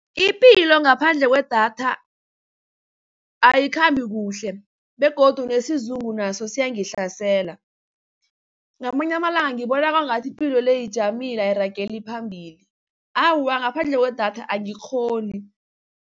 Ipilo ngaphandle kwedatha ayikhambi kuhle begodu nesizungu naso siyangihlasela. Ngamanye amalanga ngibona kwangathi ipilo le ijamile ayirageli phambili. Awa, ngaphandle kwedatha angikghoni.